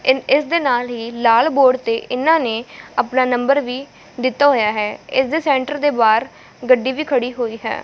ਇਸ ਦੇ ਨਾਲ ਹੀ ਲਾਲ ਬੋਰਡ ਤੇ ਇਹਨਾਂ ਨੇ ਆਪਣਾ ਨੰਬਰ ਵੀ ਦਿੱਤਾ ਹੋਇਆ ਹੈ ਇਸ ਦੇ ਸੈਂਟਰ ਦੇ ਬਾਹਰ ਗੱਡੀ ਵੀ ਖੜੀ ਹੋਈ ਹੈ।